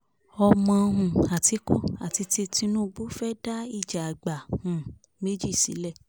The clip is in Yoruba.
ọmọ um àtìkù àti ti tinubu fẹ́ dá ìjà àgbà um méjì sílẹ̀